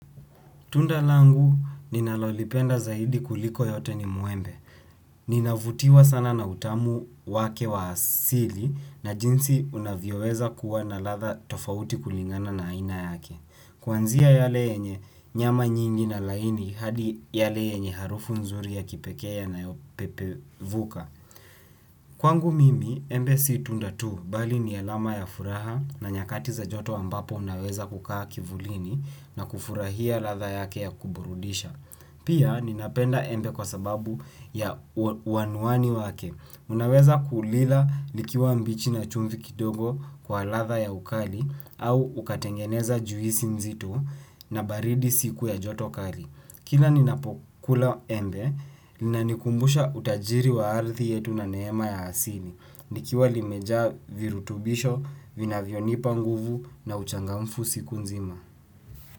Tunda langu ninalolipenda zaidi kuliko yote ni muembe. Ninavutiwa sana na utamu wake wa asili na jinsi unavyoweza kuwa na latha tofauti kulingana na aina yake. Kwanzia yale yenye nyama nyingi na laini hadi yale yenye harufu nzuri ya kipeke yana yopepe vuka. Kwangu mimi, embe si tundatu bali ni alama ya furaha na nyakati za joto ambapo unaweza kukaa kivulini na kufurahia latha yake ya kuburudisha pia nina penda embe kwasababu ya ua uanuani wake unaweza kulila likiwa mbichi na chumvi kidogo kwa latha ya ukali au ukatengeneza juisi nzito na baridi siku ya jotokali. Kila ninapokula embe, ninanikumbusha utajiri wa arthi yetu na neema ya asili. Nikiwa limeja virutubisho, vina vionipa nguvu na uchangamfu siku nzima.